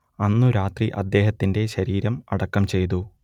അന്നു രാത്രി അദ്ദേഹത്തിന്റെ ശരീരം അടക്കം ചെയ്തു